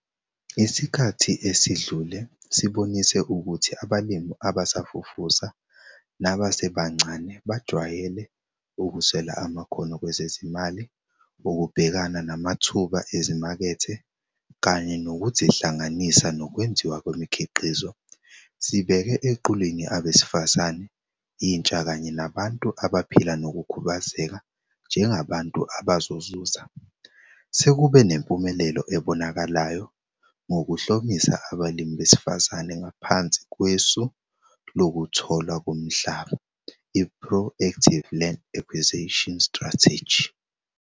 Isikhathi esidlule sibonise ukuthi abalimi abasafufusa nabasebancane bajwayele ukuswela amakhono kwezezimali ukubhekana namathuba ezimakethe kanye nokuzihlanganisa nokwenziwa kwemikhiqizo. Sibeke eqhulwini abesifazane, intsha kanye nabantu abaphila nokukhubazeka njengabantu abazozuza. Sekube nempumelelo ebonakalayo ngokuhlomisa abalimi besifazane ngaphansi kwesu lokutholwa komhlaba i-Pro Active Land Acquisition Strategy.